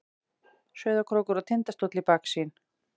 Sauðárkrókur og Tindastóll í baksýn.